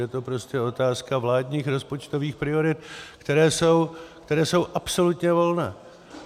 Je to prostě otázka vládních rozpočtových priorit, které jsou absolutně volné.